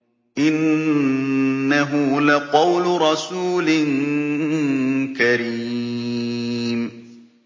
إِنَّهُ لَقَوْلُ رَسُولٍ كَرِيمٍ